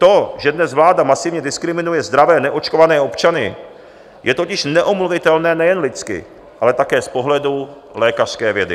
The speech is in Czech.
To, že dnes vláda masivně diskriminuje zdravé neočkované občany, je totiž neomluvitelné nejen lidsky, ale také z pohledu lékařské vědy.